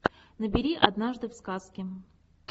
набери однажды в сказке